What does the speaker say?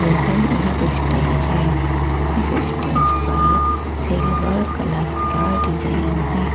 यह एक स्टेज है इस स्टेज पर सिल्वर कलर का डिजाइन है।